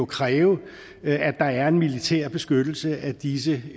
kræve at der er en militær beskyttelse af disse